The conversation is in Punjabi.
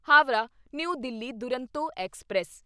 Howrah new Delhi Duronto express